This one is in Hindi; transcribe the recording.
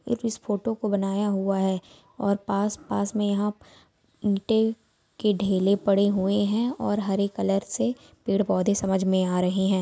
एक इस फोटो को बनाया हुआ है और पास-पास में यहां ईटे के ढेले पड़े हुए है और हरे कलर से पेड़ पौधे समझ में आ रहे हैं।